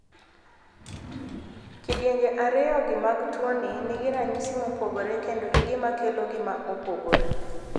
kidienje ariyo gi mag tuoni nigi ranyisi mopogore kendo gi gima kelo gi ma opogore.